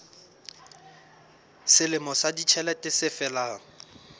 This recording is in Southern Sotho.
selemo sa ditjhelete se felang